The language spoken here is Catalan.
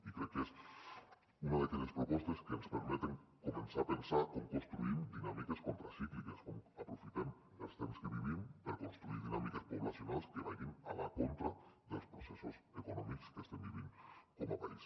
i crec que és una d’aquelles propostes que ens permeten començar a pensar com construïm dinàmiques contracícliques com aprofitem els temps que vivim per construir dinàmiques poblacionals que vagin a la contra dels processos econòmics que estem vivint com a país